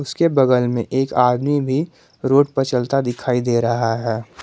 उसके बगल में एक आदमी भी रोड पर चलता दिखाई दे रहा है।